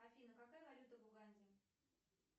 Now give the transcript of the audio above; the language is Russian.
афина какая валюта в уганде